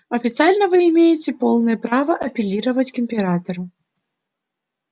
официально вы имеете полное право апеллировать к императору